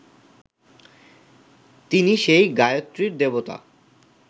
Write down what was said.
তিনি সেই গায়ত্রীর দেবতা